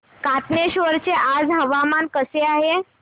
कातनेश्वर चे आज हवामान कसे आहे